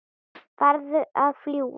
Farðu að fljúga, núna